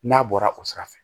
N'a bɔra o sira fɛ